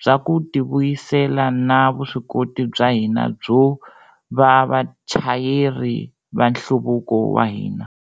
bya ku tivuyisela na vuswikoti bya hina byo va vachayeri va nhluvuko wa hina.